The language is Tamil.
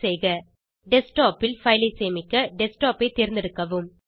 டெஸ்க்டாப் ல் பைல் ஐ சேமிக்க டெஸ்க்டாப் ஐ தேர்ந்தெடுக்கவும்